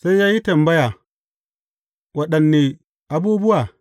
Sai ya yi tambaya, Waɗanne abubuwa?